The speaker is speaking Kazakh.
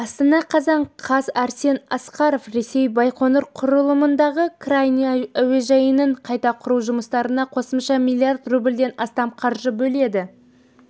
астана қазан қаз арсен асқаров ресей байқоңыр құрылымындағы крайний әуежайының қайта құру жұмыстарына қосымша млрд рубльден астам қаржы бөледі